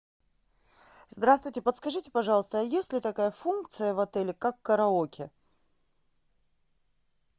здравствуйте подскажите пожалуйста есть ли такая функция в отеле как караоке